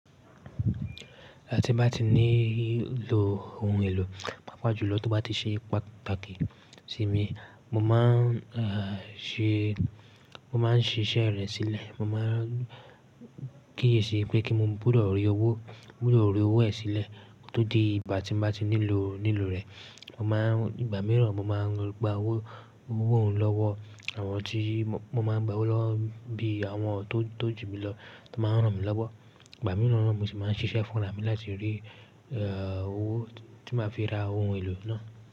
Igba ti bá ti ní lo ohun èlò, pàápàá jùlọ tó bá ti ṣe pátàkì sí mi, mo máa ń ṣe, mo máa ń ṣiṣẹ́ rẹ̀ sílẹ̀. Mo máa ń kíyèsi pé kí n mú gbudọ rí owó, mo gbudọ ri owó ẹ̀ sílẹ̀ ko tó di ìgbà tí n bá ti nílò, nílò rẹ̀. Mo máa ń, ìgbà mìíràn mo máa ń gba owó, owó òun lọ́wọ́ àwọn tí mo máa ń gba owó lọ bí àwọn tó, tó ju mi lọ tó máa ń rán mi lọ́wọ́. Ìgbà mìíràn ni mo sì máa ń ṣiṣẹ́ fún ara mi láti rí e owó tí máa fi ra ohun èlò náà.